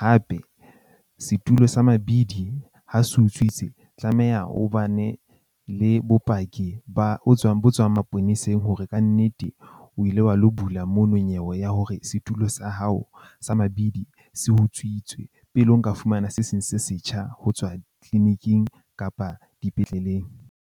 Hape setulo sa mabidi ha se utswitse, tlameha o bane le bopaki ba bo tswang bo tswang maponeseng hore kannete o ile wa lo bula mono nyewe ya hore setulo sa hao sa mabidi se utswitswe. Pele o nka fumana se seng se setjha ho tswa clinic-ing kapa dipetlele.